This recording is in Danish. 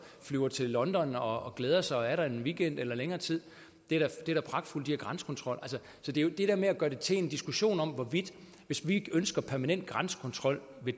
flyver til london og glæder sig og er der en weekend eller længere tid det er da pragtfuldt at de har grænsekontrol så det er jo det dér med at gøre det til en diskussion om hvorvidt vi hvis vi ønsker permanent grænsekontrol ved